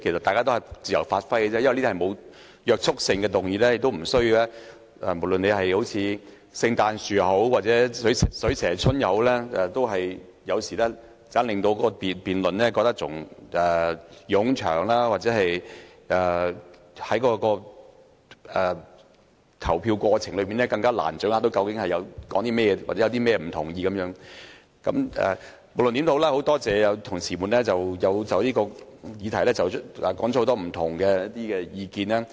大家都是自由發揮而已，因為這些議案均不具約束力，實在沒有必要像聖誕樹掛裝飾或"水蛇春"一般累贅，有時這樣反而令辯論變得冗長，又或令議員在投票時難以掌握究竟在辯論甚麼或有甚麼不同意見，但無論如何，我很多謝同事就這項議題提出了不同意見。